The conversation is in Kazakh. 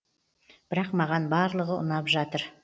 бірақ маған барлығы ұнап жатыр